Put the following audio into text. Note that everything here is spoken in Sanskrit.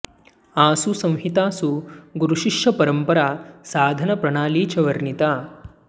आसु संहितासु गुरुशिष्य परंपरा साधन प्रणाली च वर्णिता